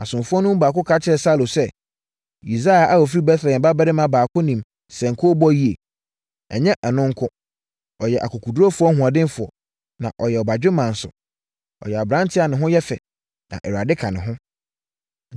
Asomfoɔ no mu baako ka kyerɛɛ Saulo sɛ, “Yisai a ɔfiri Betlehem babarima baako nim sankuo bɔ yie. Ɛnyɛ ɛno nko. Ɔyɛ ɔkokoɔdurufoɔ hoɔdenfoɔ, na ɔyɛ ɔbadwemma nso. Ɔyɛ aberanteɛ a ne ho yɛ fɛ, na Awurade ka ne ho.”